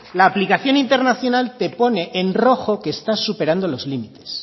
la aplicación de internacional te pone en rojo que está superando los límites